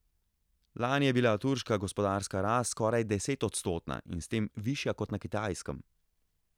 Lani je bila turška gospodarska rast skoraj desetodstotna in s tem višja kot na Kitajskem.